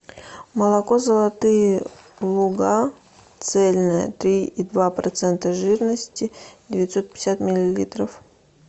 молоко золотые луга цельное три и два процента жирности девятьсот пятьдесят миллилитров